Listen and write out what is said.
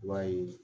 I b'a ye